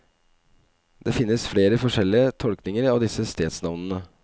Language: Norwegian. Det finnes flere forskjellige tolkninger av disse stedsnavnene.